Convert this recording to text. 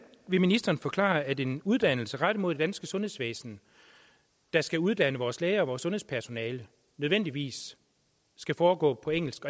vil ministeren forklare at en uddannelse rettet mod det danske sundhedsvæsen der skal uddanne vores læger og sundhedspersonale nødvendigvis skal foregå på engelsk